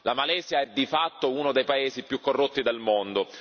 La Malesia è di fatto uno dei paesi più corrotti del mondo.